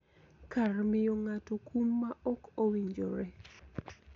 Kar miyo ng�ato kum ma ok owinjore.